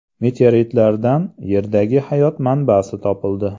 Meteoritlardan Yerdagi hayot manbasi topildi.